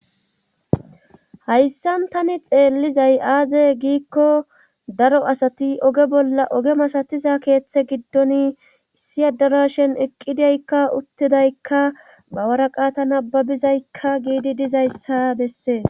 Hayssan tani xeellizay aaze giikko daro asati oge bolla oge masatiza keeththe giddon issiya darashen eqqidaykka uttidaykka bawaraqata nababizaykka giidi dizayssa bessees.